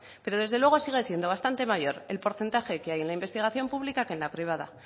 pero desde luego siguen siendo bastante mayor el porcentaje que hay en investigación pública que en la privada